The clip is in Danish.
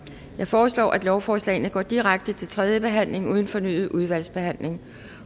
jeg foreslår at lovforslagene går direkte til tredje behandling uden fornyet udvalgsbehandling